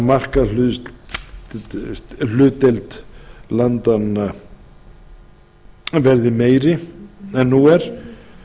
að því að tryggja að markaðshlutdeild vestur norðurlanda verði meiri en nú er